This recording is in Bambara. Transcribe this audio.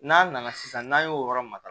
N'a nana sisan n'a y'o yɔrɔ matara